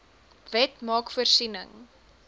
wet maak voorsiening